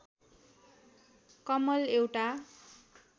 कमल एउटा